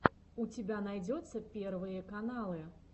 у тебя найдется первые каналы